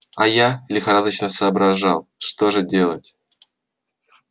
а я лихорадочно соображал что же делать